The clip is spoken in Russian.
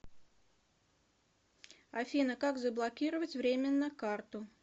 афина как заблокировать временно карту